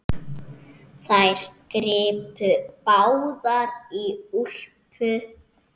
Þær gripu báðar í úlpu